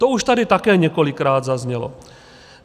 To už tady také několikrát zaznělo.